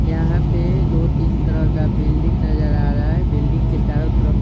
यहाँ पे दो-तीन तरह का बिल्डिंग नजर आ रहा है बिल्डिंग के चारों तरफ--